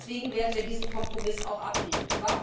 Und deswegen werden wir diesen Kompromiss auch ablehnen.